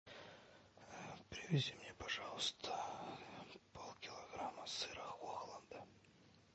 привези мне пожалуйста полкилограмма сыра хохланда